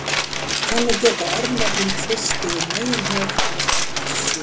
Þannig geta örnefnin flust yfir meginhöf eins og ekkert sé.